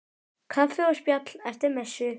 Kaffi og spjall eftir messu.